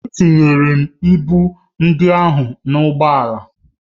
Etinyere m ịbụ ndị ahụ n'ime ụgbọ ala